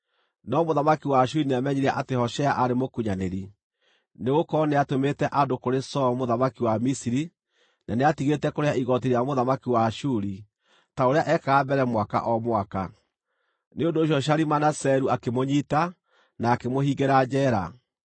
No mũthamaki wa Ashuri nĩamenyire atĩ Hoshea aarĩ mũkunyanĩri, nĩgũkorwo nĩatũmĩte andũ kũrĩ Soo mũthamaki wa Misiri, na nĩatigĩte kũrĩha igooti rĩa mũthamaki wa Ashuri ta ũrĩa ekaga mbere mwaka o mwaka. Nĩ ũndũ ũcio Shalimaneseru akĩmũnyiita, na akĩmũhingĩra njeera.